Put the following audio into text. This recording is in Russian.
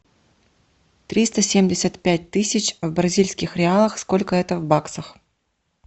триста семьдесят пять тысяч в бразильских реалах сколько это в баксах